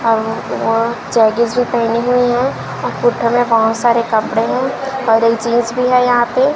और वह जेगिंस भी पेहनी हुई है बहुत सारे कपड़े हैं और एक जींस भी है यहां पे--